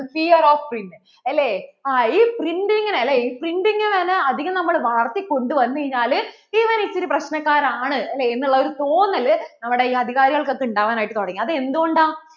clear of print അല്ലേ ഈ printing ഇ printing തന്നെ അധികം നമ്മൾ വളര്‍ത്തിക്കൊണ്ടു വന്നു കഴിഞ്ഞാൽ ഇവൻ ഇച്ചിരി പ്രശ്നകാരൻ ആണ് എന്നു ഉള്ള തോന്നൽ നമ്മടെ ഇ അധികാരികൾക്ക് ഒക്കെ ഇണ്ടാവാൻ ആയിട്ട് തുടങ്ങി അത് എന്തുകൊണ്ടാ